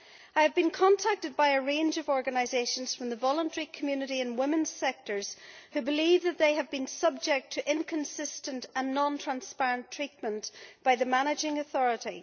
I have been contacted by a range of organisations from the voluntary community in women's sectors who believe that they have been subject to inconsistent and non transparent treatment by the Managing Authority.